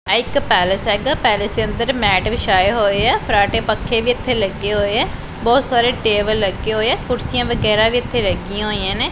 ਆਹ ਇੱਕ ਪੈਲੇਸ ਹੈਗਾ ਪੈਲੇਸ ਦੇ ਅੰਦਰ ਮੈਟ ਵਿਛਾਏ ਹੋਏ ਹੈਂ ਫਰਾਟੇ ਪੱਖੇ ਵੀ ਇੱਥੇ ਲੱਗੇ ਹੋਏ ਹੈਂ ਬਹੁਤ ਸਾਰੇ ਟੇਬਲ ਲੱਗੇ ਹੋਏ ਹੈਂ ਕੁਰਸੀਆਂ ਵਗੈਰਾ ਵੀ ਇੱਥੇ ਲੱਗੀਆਂ ਹੋਈਆਂ ਨੇਂ।